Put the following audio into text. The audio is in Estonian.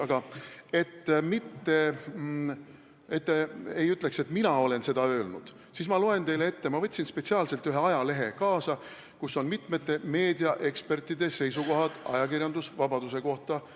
Aga ma võtsin spetsiaalselt kaasa ühe ajalehe, kus on välja toodud mitme meediaeksperdi seisukohad ajakirjandusvabaduse kohta.